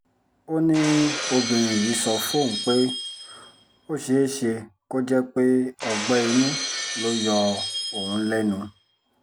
ó ní obìnrin yìí sọ fóun pé ó ṣeé ṣe kó jẹ́ pé ọgbẹ́ inú ló ń yọ òun lẹ́nu